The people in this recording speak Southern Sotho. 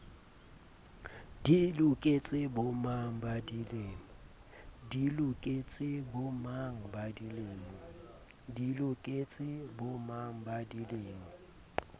di loketse bomang ba dilemo